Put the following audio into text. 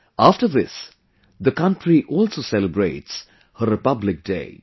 After this, the country also celebrates her Republic Day